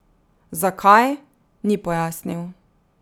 Zakaj, ni pojasnil.